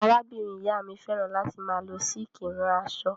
Arábìnrin-ìyá mi fẹ́ràn láti máa lọ sííkì rán aṣọ.